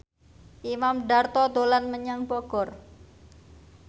Imam Darto dolan menyang Bogor